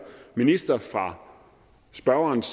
minister fra spørgerens